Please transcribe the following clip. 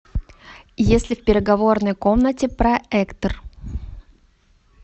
есть ли в переговорной комнате проектор